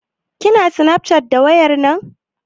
Kina snafcat da wayar nan?